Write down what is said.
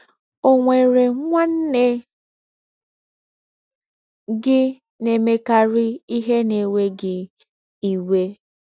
Ọ̀ nwere nwanne gị na - emekarị ihe na - ewe gị iwe?